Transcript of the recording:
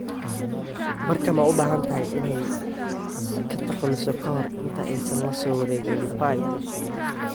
Barca ma u baahan tahay inay ka takhalusto ka hor inta aysan la soo wareegin Depay?